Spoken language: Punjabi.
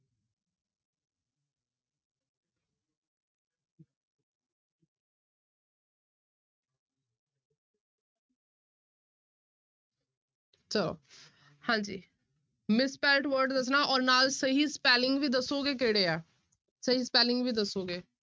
ਚਲੋ ਹਾਂਜੀ misspelt word ਦੱਸਣਾ ਔਰ ਨਾਲ ਸਹੀ spelling ਵੀ ਦੱਸੋਗੇ ਕਿਹੜੇ ਆ, ਸਹੀ spelling ਵੀ ਦੱਸੋਗੇ।